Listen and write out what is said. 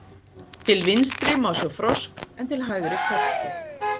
Til vinstri má sjá frosk en til hægri körtu.